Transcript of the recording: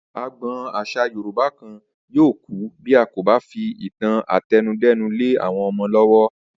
Agbo̩n às̩à Yorùbá kan yóò kú bí a kò bá fi ìtàn àte̩nudé̩nu lé àwo̩n o̩mo̩ ló̩wó̩